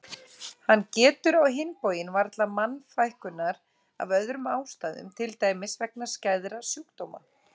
Hann getur á hinn bóginn varla mannfækkunar af öðrum ástæðum til dæmis vegna skæðra sjúkdóma.